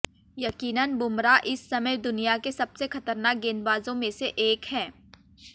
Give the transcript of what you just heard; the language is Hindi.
यकीनन बुमराह इस समय दुनिया के सबसे खतरनाक गेंदबाजों में से एक हैं